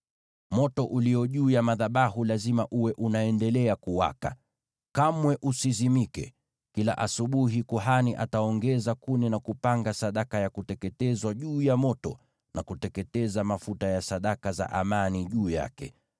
Moto ulio juu ya madhabahu lazima uwe unaendelea kuwaka, kamwe usizimike. Kila asubuhi kuhani ataongeza kuni na kupanga sadaka ya kuteketezwa juu ya moto, na kuteketeza mafuta ya sadaka za amani juu yake.